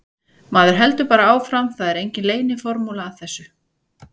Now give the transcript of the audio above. Maður heldur bara áfram, það er engin leyniformúla að þessu.